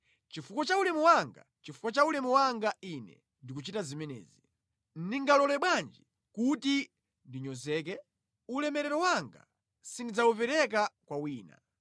Chifukwa cha ulemu wanga, chifukwa cha ulemu wanga Ine ndikuchita zimenezi. Ndingalole bwanji kuti ndinyozeke? Ulemerero wanga sindidzawupereka kwa wina.